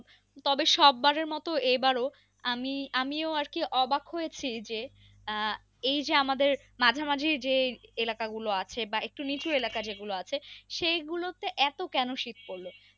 তবে সববারের মতো এবারও আমি আমিও আরকি অবাক হয়েছি যে আহ এইযে আমাদের মাঝামাঝি যে এলাকা গুলো আছে বা একটু নিচু এলাকা যেগুলো আছে সেই গুলোতে এত কেন শীত পড়লো।